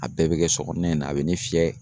A bɛɛ bɛ kɛ sɔ kɔnɔna in na a bɛ ne fiyɛ.